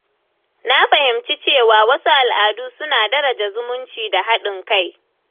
Na fahimci cewa wasu al’adu suna daraja zumunci da haɗin kai.